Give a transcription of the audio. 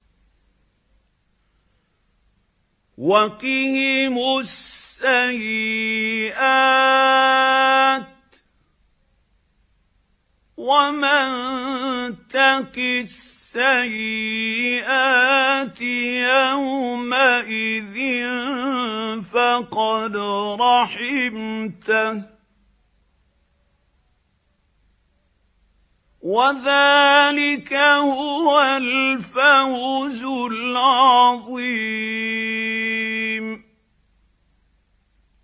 وَقِهِمُ السَّيِّئَاتِ ۚ وَمَن تَقِ السَّيِّئَاتِ يَوْمَئِذٍ فَقَدْ رَحِمْتَهُ ۚ وَذَٰلِكَ هُوَ الْفَوْزُ الْعَظِيمُ